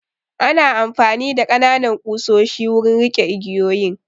Ana amfani da ƙananan ƙusoshi wurin riƙe igiyoyin